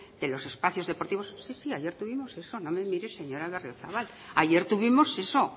de los espacios deportivos sí sí ayer tuvimos eso no me mire señora berriozabal ayer tuvimos eso